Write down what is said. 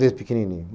Desde pequenininho.